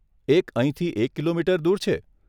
એક અહીંથી એક કિલોમીટર દૂર છે.